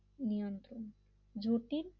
নিয়ন্ত্রণ জটিল